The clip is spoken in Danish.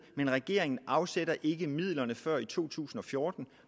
men regeringen afsætter ikke midlerne før i to tusind og fjorten